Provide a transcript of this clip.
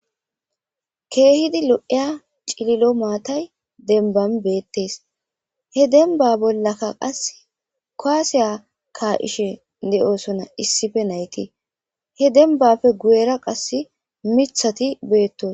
keehidi lo'iya cililo maatay denban beettes he denba bollaka qas koaseya kaishe de'osona issife nayti he denbafe guyera qass mithati beettos